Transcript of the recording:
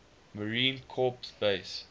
marine corps base